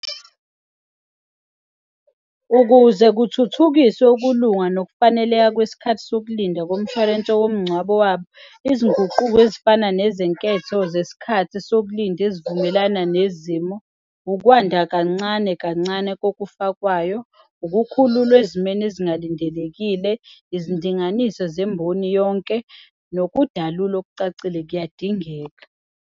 Ukuze kuthuthukiswe ukulunga nokufaneleka kwesikhathi sokulinda komshwalense womngcwabo wabo, izinguquko ezifana nezenketho zesikhathi sokulinda ezivumelana nezimo, ukwanda kancane kancane kokufakwayo, ukukhululwa ezimeni ezingalindelekile, izidinganiso zemboni yonke nokudalulwa okucacile kuyadingeka.